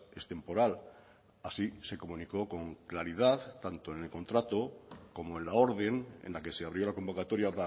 es temporal así se comunicó con claridad tanto en el contrato como en la orden en la que se abrió la convocatoria